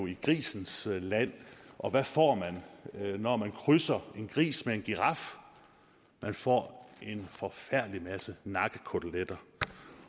i grisens land og hvad får man når man krydser en gris med en giraf man får en forfærdelig masse nakkekoteletter